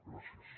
gràcies